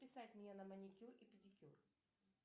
записать меня на маникюр и педикюр